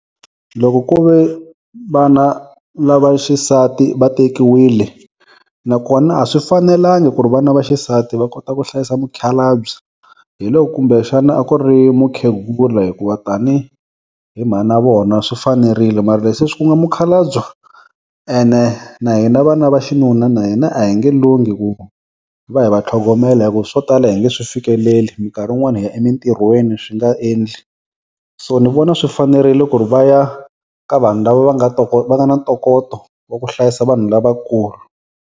Loko ku ve vana lava xisati va tekiwile nakona a swi fanelanga ku ri vana va xisati va kota ku hlayisa mukhalabye hi loko kumbe xana a ku ri mukhegula hikuva tanihi mhana vona swi fanerile mara leswi ku nga mukhalabye ene na hina vana va xinuna na hina a hi nge lunghi ku va hi va tlhogomela hi ku swo tala a hi nge swi fikeleli minkarhi wun'wana hi ya emintirhweni swi nga endli so ni vona swi fanerile ku ri vaya ka vanhu lava va nga va nga na ntokoto va ku hlayisa vanhu lavakulu.